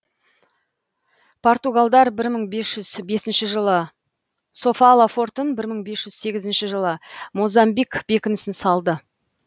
португалдар бір мың бес жүз бесінші жылы софала фортын бір мың бес жүз сегізінші жылы мозамбик бекінісін салды